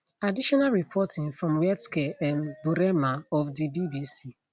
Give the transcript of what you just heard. additional reporting from wietske um burema of di bbc